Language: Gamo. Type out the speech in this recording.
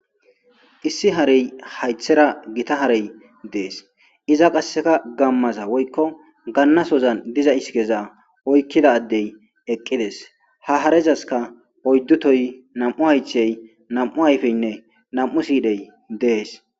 Issi harey haythera gita harey dees. Iza qasseka gammaza woykko gannasozan diza isIkeza oykkida addey eqqides. Ha harezaskka oyddu tohoy, nam7u haythey, nam7u ayfeynne nam7u siidhey dees.